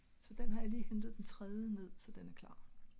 så den har jeg lige hentet den tredje ned så den er klar